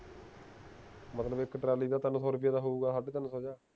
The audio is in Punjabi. ਮਤਲਬ ਇਕ ਟਰਾਲੀ ਦਾ ਤਾਂ ਤਿੰਨ ਸੋ ਰੁਪਿਆ ਤਾਂ ਹੋਊਗਾ ਸਾਢੇ ਤਿੰਨ ਸੋ ਜਾ